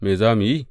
Me za mu yi?